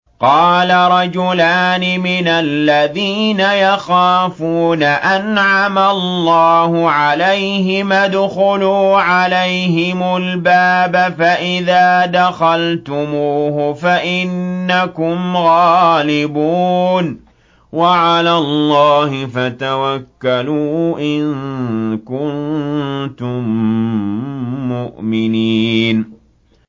قَالَ رَجُلَانِ مِنَ الَّذِينَ يَخَافُونَ أَنْعَمَ اللَّهُ عَلَيْهِمَا ادْخُلُوا عَلَيْهِمُ الْبَابَ فَإِذَا دَخَلْتُمُوهُ فَإِنَّكُمْ غَالِبُونَ ۚ وَعَلَى اللَّهِ فَتَوَكَّلُوا إِن كُنتُم مُّؤْمِنِينَ